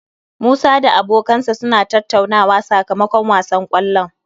Musa da abokansa suna tattauna sakamakon wasan kwallon